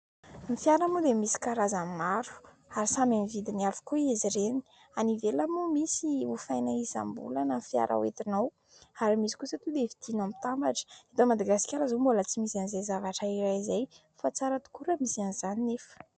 Ny fiara moa dia misy karazany maro ary samy amin'ny vidiny avokoa izy ireny. Any ivelany moa misy hofaina isam-bolana ny fiara hoetinao ary misy kosa tonga dia vidina mitambatra. Eto Madagasikara izao mbola tsy misy an'izay zavatra iray izay fa tsara tokoa raha misy an'izany nefa.